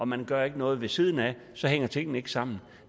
man gør ikke noget ved siden af og så hænger tingene ikke sammen